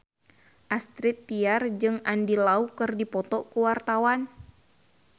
Astrid Tiar jeung Andy Lau keur dipoto ku wartawan